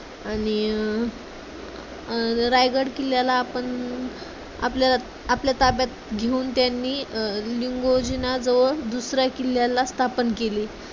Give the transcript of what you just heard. आणि अं अं रायगड किल्ल्याला आपण आपल्या आपल्या ताब्यात घेऊन त्यांनी लिंगोजीना जवळ दुसऱ्या किल्ल्याला स्थापन केली.